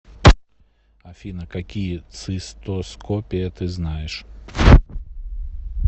афина какие цистоскопия ты знаешь